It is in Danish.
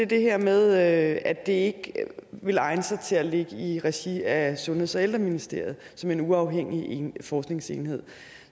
det her med at at det ikke ville egne sig til at ligge i regi af sundheds og ældreministeriet som en uafhængig forskningsenhed